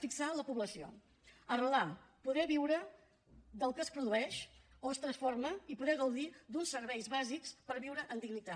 fixar la població arrelar poder viure del que es produeix o es transforma i poder gaudir d’uns serveis bàsics per viure amb dignitat